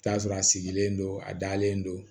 I bi t'a sɔrɔ a sigilen don a dalen don